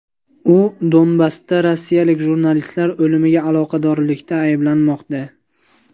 U Donbassda rossiyalik jurnalistlar o‘limiga aloqadorlikda ayblanmoqda.